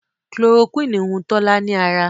Chloroquine hùn Tola ní ára.